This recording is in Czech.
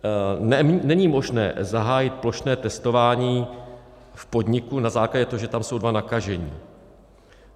Není možné zahájit plošné testování v podniku na základě toho, že tam jsou dva nakažení.